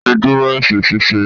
O ti dúró esin ṣíṣe.